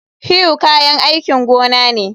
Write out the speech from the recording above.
Hoe kayan aikin gona ne